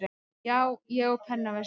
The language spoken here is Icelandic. Já, ég á pennaveski.